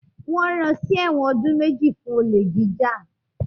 Wọ́n ran sí ẹ̀wọ̀n ọdún méjì fún olè jíjà